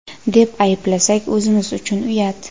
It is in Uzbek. deb ayblasak o‘zimiz uchun uyat.